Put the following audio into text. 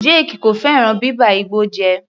Jake kò fẹ́ràn bíba igbó jẹ́.